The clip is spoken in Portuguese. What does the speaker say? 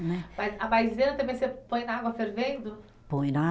Mas a maisena também você põe na água fervendo? Põe na